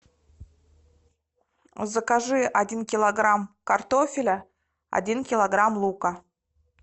закажи один килограмм картофеля один килограмм лука